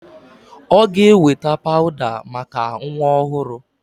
Ọ ga-eweta pawụda maka nwa ọhụrụ.